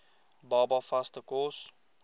baba vaste kos